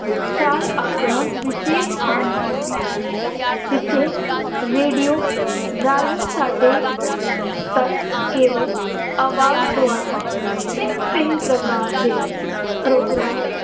ਆਪਣਾ ਵਿਸ਼ੇਸ਼ ਸਥਾਨ ਹੈ ਜਿੱਥੇ radio ਰਾਹੀਂ ਸਾਡੇ ਤੱਕ ਕੇਵਲ ਆਵਾਜ਼ ਦੁਆਰਾ ਭਿੰਨ-ਭਿੰਨ ਪ੍ਰਕਾਰ ਦੇ programme